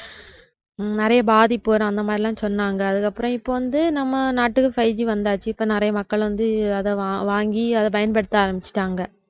நிறைய பாதிப்பு வரும் அந்த மாதிரிலாம் சொன்னாங்க அதுக்கப்புறம் இப்ப வந்து நம்ம நாட்டுக்கு fiveG வந்தாச்சு இப்ப நிறைய மக்கள் வந்து அத வாங்கி அத பயன்படுத்த ஆரம்பிச்சிட்டாங்க